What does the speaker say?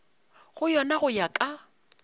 go yona go ya ka